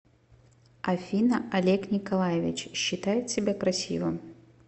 афина олег николаевич считает себя красивым